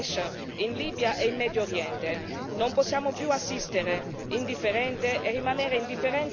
Una minaccia del tutto identica a quella rappresentata dal gruppo terroristico Daesh in Libia e in Medio Oriente.